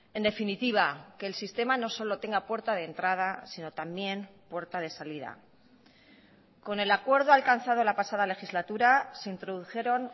en definitiva que el sistema no solo tenga puerta de entrada sino también puerta de salida con el acuerdo alcanzado la pasada legislatura se introdujeron